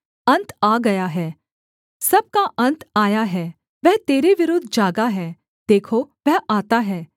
अन्त आ गया है सब का अन्त आया है वह तेरे विरुद्ध जागा है देखो वह आता है